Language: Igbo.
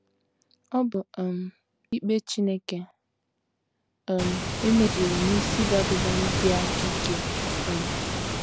Ọ bụ um ikpe Chineke um e mezuru n’isi Babilọn dị aka ike. um